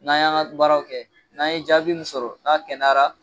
N'a y'an ga baaraw kɛ n'an ye jaabi min sɔrɔ n'a kɛnɛyara